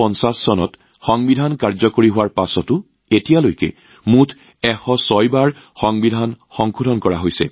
১৯৫০ চনত সংবিধান বলবৎ হোৱাৰ পাছতো আজিলৈকে সংবিধানত মুঠ ১০৬টা সংশোধনী সম্পন্ন হৈছে